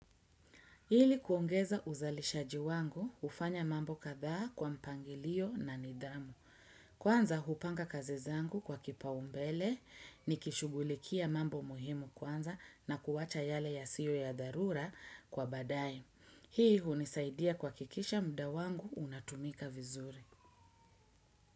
Ili kuongeza uzalishaji wangu, hufanya mambo kadha kwa mpangilio na nidhamu. Kwanza, hupanga kazi zangu kwa kipa umbele, nikishughulikia mambo muhimu kwanza na kuwacha yale ya siyo ya darura kwa badae. Hii hunisaidia kuhakisha muda wangu unatumika vizuri.